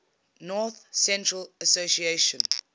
north central association